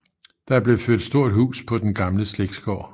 Der blev ført stort hus på den gamle slægtsgård